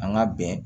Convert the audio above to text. An ka bɛn